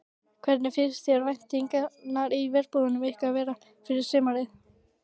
Hvernig finnst þér væntingarnar í herbúðum ykkar vera fyrir sumarið?